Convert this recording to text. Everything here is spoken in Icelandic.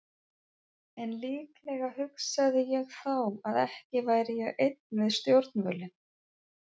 En líklega hugsaði ég þá að ekki væri ég einn við stjórnvölinn.